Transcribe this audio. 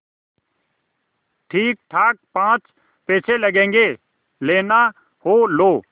ठीकठाक पाँच पैसे लगेंगे लेना हो लो